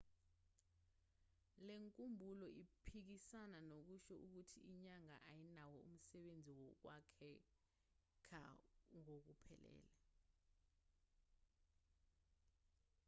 lenkumbulo iphikisana nokusho ukuthi inyanga ayinawo umsebenzi wokwakhekha ngokuphelele